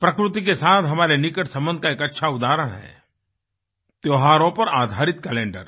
प्रकृति के साथ हमारे निकट संबंध का एक अच्छा उदाहरण है त्योहारों पर आधारित कैलेंडर